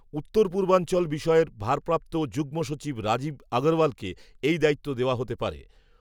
উত্তরপূর্বাঞ্চল বিষয়ের, ভারপ্রাপ্ত যুগ্মসচিব, রাজীব, আগরওয়ালকে, এই দায়িত্ব দেওয়া হতে পারে